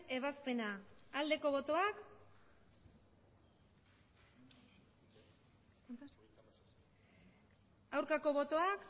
ebazpena aldeko botoak aurkako botoak